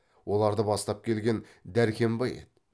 оларды бастап келген дәркембай еді